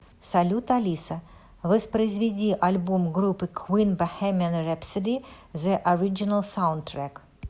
салют алиса воспроизведи альбом группы квин бохемиан рэпсоди зе ориджинал саундтрек